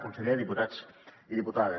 conseller diputats i diputades